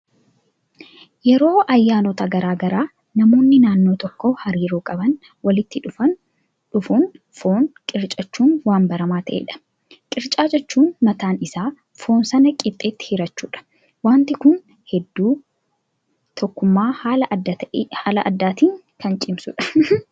Yeroo ayyaanota garaagaraa namoonni naannoo tokkoo hariiroo qaban walitti dhufuun foon qircachuun waan baramaa ta'edha. Qircaa jechuun mataan isaa foon sana qixxeetti hirachuudha. Wanti kun hedduu tokkummaa haala addaatiin kan cimsudha.